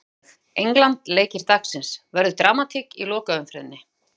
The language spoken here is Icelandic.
Sjá Einnig: England- Leikir dagsins: Verður dramatík í lokaumferðinni?